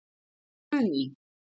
Guðný